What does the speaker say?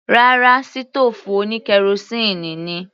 Rárá, sítòòfù oní kerosíínì ni.